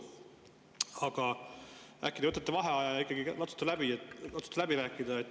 Aga äkki te võtate vaheaja ja ikkagi katsute läbi rääkida.